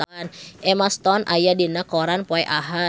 Emma Stone aya dina koran poe Ahad